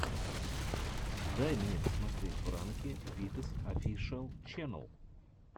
дай мне посмотреть пранки витас офишиал ченнэл